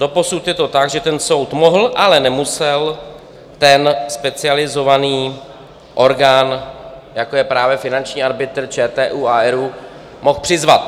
Doposud je to tak, že ten soud mohl, ale nemusel ten specializovaný orgán, jako je právě finanční arbitr, ČTÚ a ERÚ, mohl přizvat.